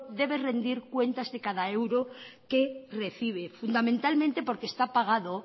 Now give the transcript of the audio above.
debe rendir cuenta de cada euro que recibe fundamentalmente porque